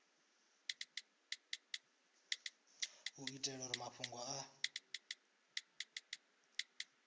u itela uri mafhungo a